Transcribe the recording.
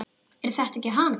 Er þetta ekki hann